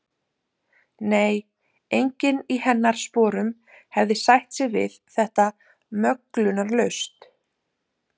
Nei, enginn í hennar sporum hefði sætt sig við þetta möglunarlaust.